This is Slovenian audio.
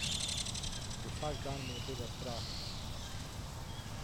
Vsak dan me je tega strah.